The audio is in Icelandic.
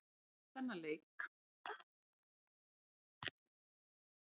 Eftir þennan leik hafa leikmennirnir ekki verið miklir mátar.